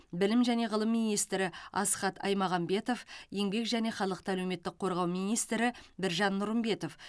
білім және ғылым министрі асхат аймағамбетов еңбек және халықты әлеуметтік қорғау министрі біржан нұрымбетов